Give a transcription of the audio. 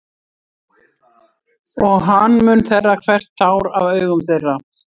Og hann mun þerra hvert tár af augum þeirra.